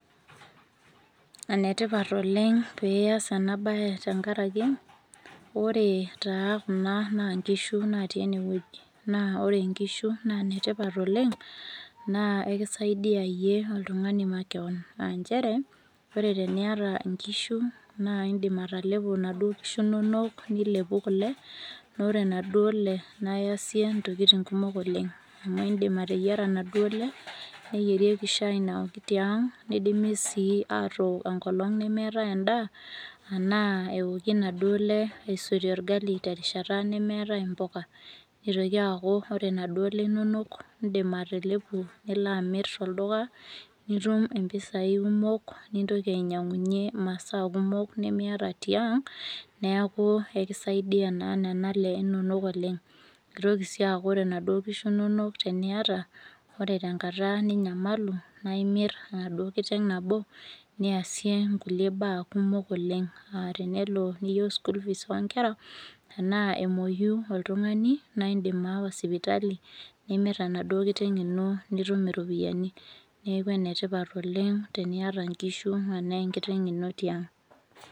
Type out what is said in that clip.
Enetipat oleng pias enabae tenkaraki, ore taa kuna naa nkishu natii enewueji. Naa ore nkishu naa netipat oleng, naa ekisaidia yie oltung'ani makeon. Ah njere, ore teniata inkishu, naa idip atalepo naduo kishu nonok, nilepu kule, na ore naduole, naiyasie ntokiting kumok oleng. Amu idim ateyiara naduole, neyierieki shai naoki tiang', nidimi si atook enkolong nemeetae endaa, anaa eoku naduole aisotie orgali terishata nemeetae impuka. Nitoki aku ore naduole inonok, idim atalepu nilo amir tolduka, nitum impisai kumok, nintoki ainyang'unye masaa kumok nimiata tiang', neeku ekisaidia naa nena ale inonok oleng. Kitoki si aku ore naduo kishu nonok teniata, ore tenkata ninyamalu, naa imir enaduo kiteng' nabo, niasie inkulie baa kumok oleng. Ah tenelo niyieu school fees onkera, enaa emoyu oltung'ani, na idim aawa sipitali, nimir enaduo kiteng' ino nitum iropiyiani. Neeku enetipat oleng, teniata nkishu, enaa enkiteng' ino tiang'.